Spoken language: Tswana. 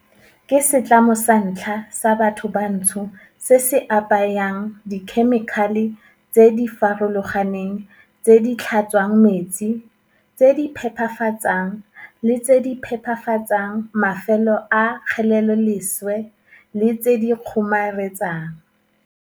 ke setlamo sa ntlha sa bathobantsho se se apayang dikhemikhale tse di farologaneng tse di tlhatswang metsi, tse di phepafatsang le tse di phepafatsang mafelo a kgeleloleswe le tse di kgomaretsang.